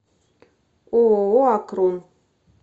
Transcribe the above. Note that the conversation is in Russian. ооо акрон